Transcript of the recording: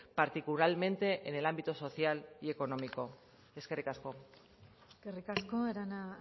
particularmente en el ámbito social y económico eskerrik asko eskerrik asko arana